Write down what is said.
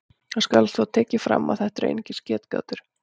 Það skal þó tekið fram að þetta eru einungis getgátur.